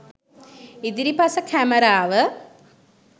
ඉදිරිපස කැමරාව